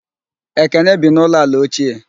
Ekene bi n'ụlọ ala ochie